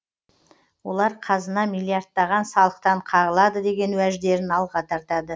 олар қазына миллиардтаған салықтан қағылады деген уәждерін алға тартады